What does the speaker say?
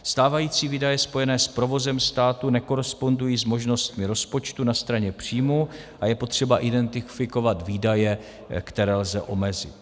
- Stávající výdaje spojené s provozem státu nekorespondují s možnostmi rozpočtu na straně příjmů a je potřeba identifikovat výdaje, které lze omezit.